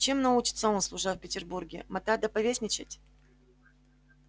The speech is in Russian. чем научится он служа в петербурге мотать да повесничать